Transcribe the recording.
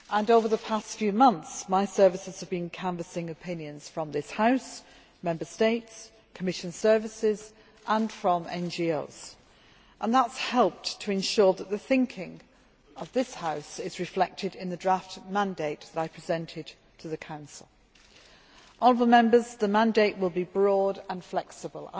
Over the past few months my services have been canvassing opinions from this House, from Member States, Commission services and from NGOs, and that has helped to ensure that the thinking of this House is reflected in the draft mandate which I presented to the Council. Honourable Members, the mandate will be broad and flexible.